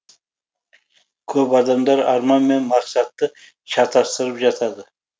көп адамдар арман мен мақсатты шатастырып жатады